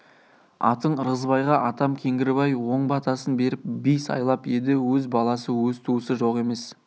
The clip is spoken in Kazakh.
атаң ырғызбайға атам кеңгірбай оң батасын беріп би сайлап еді өз баласы өз туысы жоқ емес